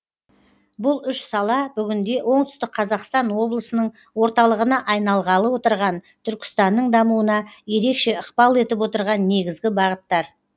бұл үш сала бүгінде оңтүстік қазақстан облысының орталығына айналғалы отырған түркістанның дамуына ерекше ықпал етіп отырған негізгі бағыттар